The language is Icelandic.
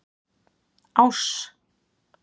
Áss